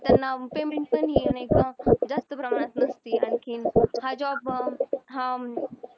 त्यांना payment पण येत नाही का जास्त प्रमाणात आणखीन हा job अं हा